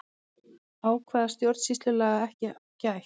Ákvæða stjórnsýslulaga ekki gætt